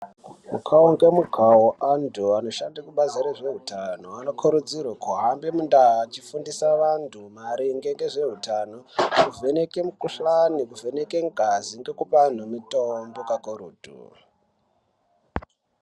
Mukao ngemukao anthu anoshande kubazi rezveutano anokurudzirwa kuhambe mundau achifundisa anthu maringe ngezveutano kuvheneka mikuhlani kuvheneka ngazi ngekupe anthu mitombo kakurutu.